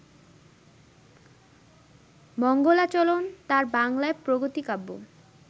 মঙ্গলাচরণ তাঁর বাংলায় প্রগতি-কাব্য